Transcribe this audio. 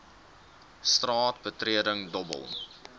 straat betreding dobbel